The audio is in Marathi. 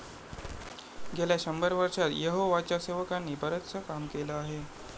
गेल्या शंभर वर्षांत यहोवाच्या सेवकांनी बरंचसं काम केलं आहे.